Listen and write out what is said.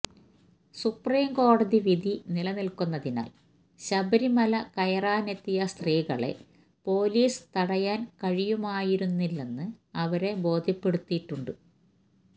സുപ്രീംകോടതി വിധി നിലനിൽക്കുന്നതിനാൽ ശബരിമല കയറാനെത്തിയ സ്ത്രീകളെ പോലീസിന് തടയാൻ കഴിയുമായിരുന്നില്ലെന്ന് അവരെ ബോധ്യപ്പെടുത്തിയിട്ടുണ്ട്